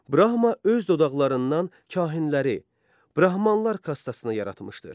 Brahma öz dodaqlarından kahinləri brahmanlar kastasına yaratmışdır.